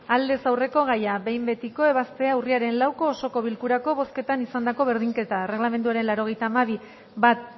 aldez aurreko gaia behin betiko ebaztea urriaren lauko osoko bilkurako bozketan izandako berdinketak erregelamenduaren laurogeita hamabi puntu bat